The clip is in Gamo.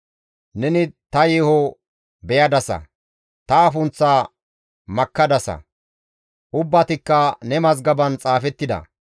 Neni ta yeeho beyadasa; ta afunththaa makkadasa; ubbatikka ne mazgaban xaafettida.